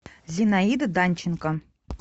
зинаида данченко